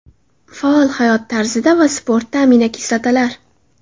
Faol hayot tarzida va sportda aminokislotalar.